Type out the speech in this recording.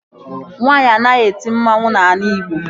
Nwaanyi anaghị eti mmanwu n'ala Ịgbo